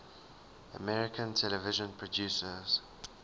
american television producers